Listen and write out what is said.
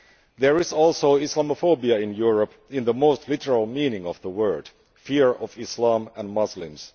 There is also Islamophobia in Europe, in the most literal meaning of the word fear of Islam and Muslims.